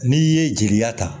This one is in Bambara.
N'i ye jeliya ta